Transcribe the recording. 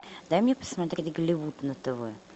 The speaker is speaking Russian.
дай мне посмотреть голливуд на тв